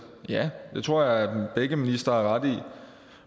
ja det tror jeg begge ministre har ret i